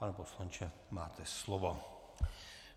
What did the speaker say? Pane poslanče, máte slovo.